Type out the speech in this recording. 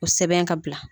O sɛbɛn ka bila